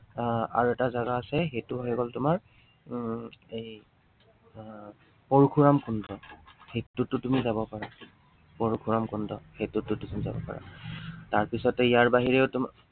আহ আৰু এটা জাগা আছে, সেইটো হৈ গল তোমাৰ উম এৰ আহ পৰশুৰাম কুণ্ড, সেইটোতো তুমি যাব পাৰা। পৰশুৰাম কুণ্ড, সেইটোতো তুমি যাব পাৰা। তাৰপিছতে ইয়াৰ বাহিৰেও তোমাৰ